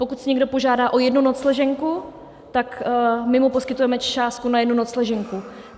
Pokud si někdo požádá o jednu nocleženku, tak my mu poskytujeme částku na jednu nocleženku.